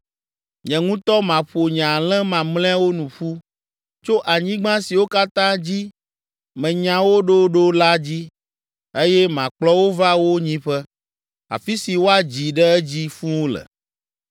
“Nye ŋutɔ maƒo nye alẽ mamlɛawo nu ƒu tso anyigba siwo katã dzi menya wo ɖo ɖo la dzi, eye makplɔ wo va wo nyiƒe, afi si woadzi ɖe edzi fũu le.